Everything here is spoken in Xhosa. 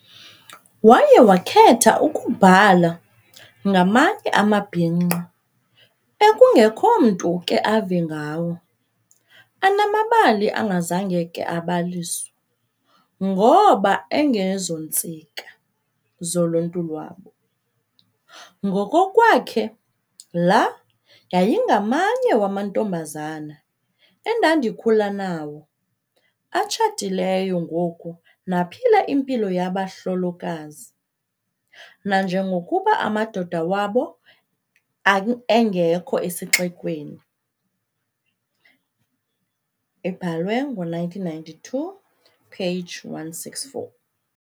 Waye wakhetha ukubhala "ngamanye amabhinqa ekungekho mntu uke ave ngawo, anamabali angazange ake abaliswa ngoba 'engezontsika' zoluntu lwabo". Ngokokwakhe la "yayingamanye wamantombazana endandikhule nawo, atshatileyo ngoku naphila impilo yabahlolokazi nanjengokuba amadoda wabo angekho esixekweni", ibhalwe ngo-1992, page 164.